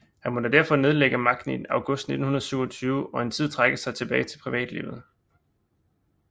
Han måtte derfor nedlægge magten i august 1927 og en tid trække sig tilbage til privatlivet